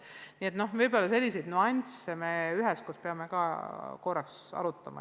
Nii et võib-olla selliseid nüansse peaksime üheskoos veel korraks arutama.